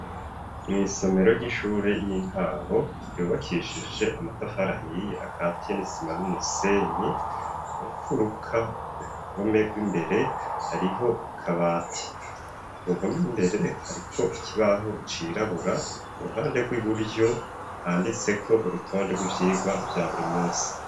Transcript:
Mw'isomero ry'ishure y'intango ryubakishije amatafari ahiye akatiye n'isima n'umusenyi mumfuruka ku ruhome gw'imbere hariho akabati kuruhome gw'imbere hariko ikibaho cirabura ku ruhande gw'iburyo handitseko urutonde gw'ivyigwa vya burimunsi.